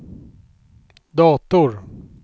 dator